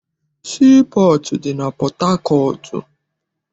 Sii pọọtụ dị na Pọthakọọtụ.